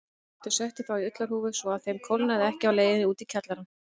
Þau settu þá í ullarhúfur svo að þeim kólnaði ekki á leiðinni út í kjallarann.